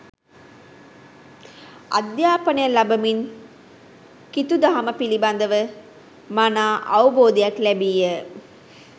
අධ්‍යාපනය ලබමින් කිතු දහම පිළිබඳව මනා අවබෝධයක් ලැබීය.